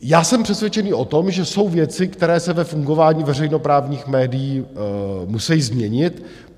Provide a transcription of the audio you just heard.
Já jsem přesvědčený o tom, že jsou věci, které se ve fungování veřejnoprávních médií musejí změnit.